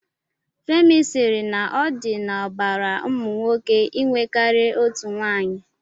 Femi sịrị na ọ dị n'ọbara ụmụ nwoke inwe karịa otu nwaanyị.